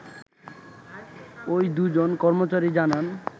ওই দু’জন কর্মচারী জানান